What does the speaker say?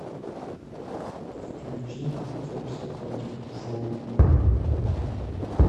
включи хоббс против шоу